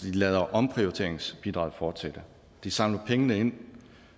de lader omprioriteringsbidraget fortsætte de samler pengene ind